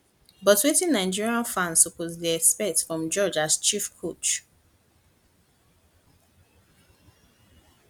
but wetin nigeria fans suppose to dey expect from george as chief coach